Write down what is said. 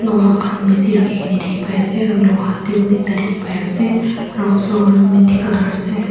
loha khan bhisi rakhi ke na dikhi pai ase aru loha table ekta dikhi pai ase aru floor tu mitti colour ase.